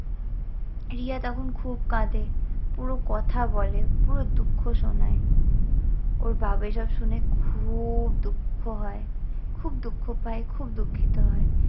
রিয়া তখন খুব কাঁদে, পুরো কথা বলে পুরো দুঃখ শোনায়। ওর বাবা এসব শুনে খুউব দুঃখ হয়, খুব দুঃখ পায়, খুব দুঃখিত হয়।